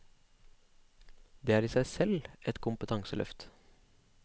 Det er i seg selv et kompetanseløft.